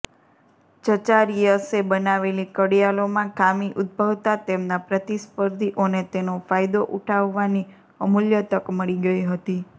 ઝચારિઅસે બનાવેલી ઘડિયાળોમાં ખામી ઉદ્ભવતા તેમના પ્રતિસ્પર્ધીઓને તેનો ફાયદો ઉઠાવવાની અમુલ્ય તક મળી ગઇ હતી